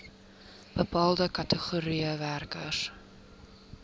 bepaalde kategorieë werkers